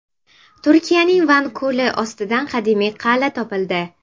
Turkiyaning Van ko‘li ostidan qadimiy qal’a topildi.